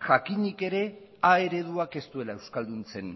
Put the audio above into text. jakinik ere a ereduak ez duela euskalduntzen